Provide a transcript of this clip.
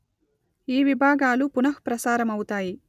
ఈ విభాగాలు పునః ప్రసారము అవుతాయి